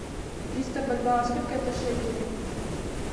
триста бальбоа сколько это шекелей